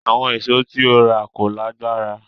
Àwọn ìṣó tí ó rà kò lágbára